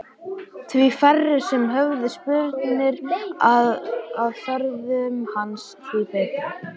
Því færri sem höfðu spurnir af ferðum hans því betra.